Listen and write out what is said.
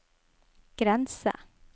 grense